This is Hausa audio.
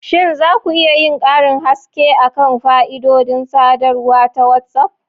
Shin za ku iya yin karin haske kan fa'idodin sadarwa ta WhatsApp?